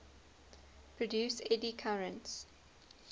produce eddy currents